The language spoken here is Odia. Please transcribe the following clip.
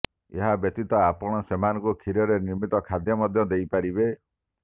ଏହା ବ୍ୟତୀତ ଆପଣ ସେମାନଙ୍କୁ କ୍ଷୀରରେ ନିର୍ମିତ ଖାଦ୍ୟ ମଧ୍ୟ ଦେଇପାରିବେ